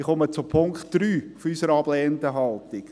Ich komme zu Punkt 3 unserer ablehnenden Haltung.